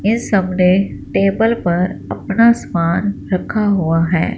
इन सब ने टेबल पर अपना समान रखा हुआ है।